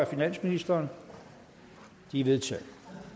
finansministeren de er vedtaget